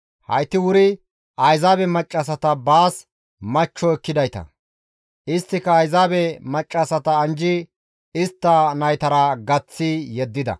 Hayti wuri Ayzaabe maccassata baas machcho ekkidayta; isttika Ayzaabe maccassata anjjidi istta naytara gaththi yeddida.